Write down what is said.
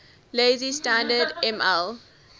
lazy standard ml